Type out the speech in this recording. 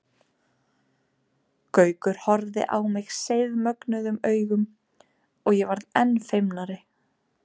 Gaukur horfði á mig seiðmögnuðum augum og ég varð enn feimnari.